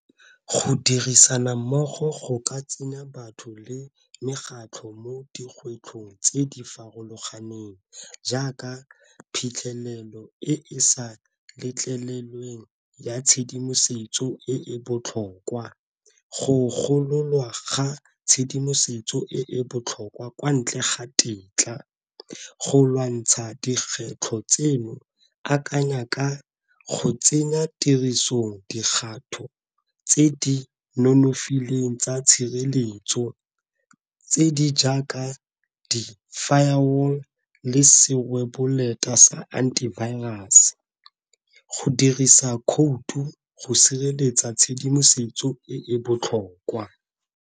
Go dirisana mmogo go ka tsenya batho le mekgatlho mo dikgwetlhong tse di farologaneng, jaaka phitlhelelo e e sa letlelweng ya tshedimosetso e e botlhokwa. Go gololwa ga tshedimosetso e e botlhokwa kwa ntle ga tetla. Go lwantsha dikgwetlho tseno akanya ka go tsenya tirisong dikgato tse di nonofileng tsa tshireletso tse di jaaka di-fire wall le serweboleta sa anti-virus go dirisa khoutu go sireletsa tshedimosetso e e botlhokwa.